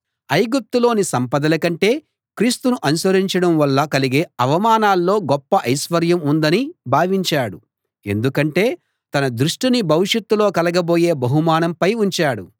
ఐగుప్తులోని సంపదల కంటే క్రీస్తును అనుసరించడం వల్ల కలిగే అవమానంలో గొప్ప ఐశ్వర్యం ఉందని భావించాడు ఎందుకంటే తన దృష్టిని భవిష్యత్తులో కలగబోయే బహుమానంపై ఉంచాడు